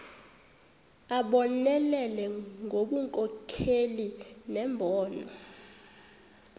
abonelele ngobunkokheli nembono